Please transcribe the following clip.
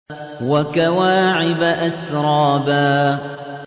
وَكَوَاعِبَ أَتْرَابًا